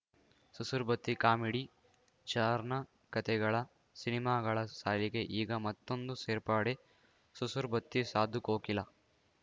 Susur Batti comedy ಚಾರ್ನ್ ಕತೆಗಳ ಸಿನಿಮಾಗಳ ಸಾಲಿಗೆ ಈಗ ಮತ್ತೊಂದು ಸೇರ್ಪಡೆ ಸುಸುರ್ ಬತ್ತಿ ಸಾಧುಕೋಕಿಲ